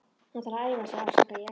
Hann þarf að æfa sig, afsaka ég.